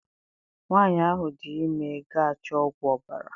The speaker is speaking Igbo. Nwanyị ahụ dị ime ga achọ ọgwụ ọbara